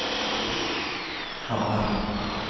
Hammar